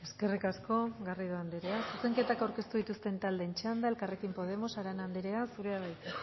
eskerrik asko garrido andrea zuzenketak aurkeztu dituzten taldeen txanda elkarrekin podemos arana andrea zurea da hitza